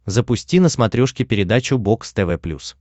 запусти на смотрешке передачу бокс тв плюс